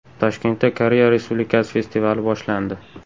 Toshkentda Koreya Respublikasi festivali boshlandi.